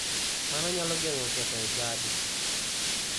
Mano nyalo geng'o ketho e chadi.